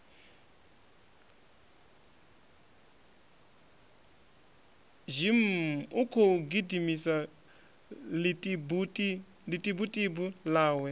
zhimmm ukhou gidimisa ḽitibutibu ḽawe